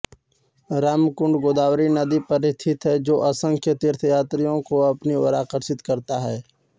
रामकुंड गोदावरी नदी पर स्थित है जो असंख्य तीर्थयात्रियों को अपनी ओर आकर्षित करता है